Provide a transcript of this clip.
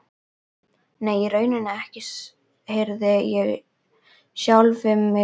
Nei, í rauninni ekki, heyrði ég sjálfan mig segja.